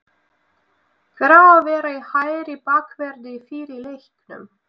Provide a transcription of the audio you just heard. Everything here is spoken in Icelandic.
Hver á að vera í hægri bakverði í fyrri leiknum?